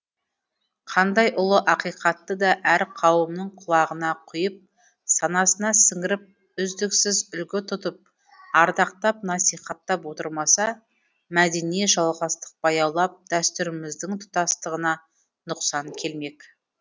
қандай ұлы ақиқатты да әр қауымның құлағына құйып санасына сіңіріп үздіксіз үлгі тұтып ардақтап насихаттап отырмаса мәдени жалғастық баяулап дәстүріміздің тұтастығына нұқсан келмек